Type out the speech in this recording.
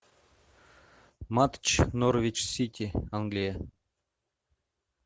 матч норвич сити англия